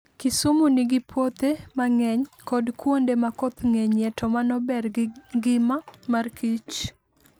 Kisumu nigi puothe mang'eny, kod kuonde ma koth ngenyie to manober gi ngima mar kich.